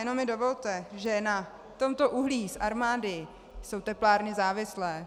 Jenom mi dovolte, že na tomto uhlí z Armády jsou teplárny závislé.